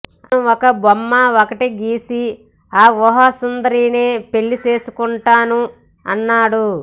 ఆతను ఒక బొమ్మ ఒకటి గీసి ఆ ఊహాసుందరినే పెళ్లి చేసుకుంటాను అన్నాడు